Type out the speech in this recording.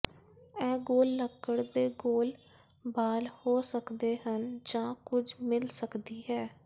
ਇਹ ਗੋਲ ਲੱਕੜ ਦੇ ਗੋਲ ਬਾਰ ਹੋ ਸਕਦੇ ਹਨ ਜਾਂ ਕੁਝ ਮਿਲ ਸਕਦੀ ਹੈ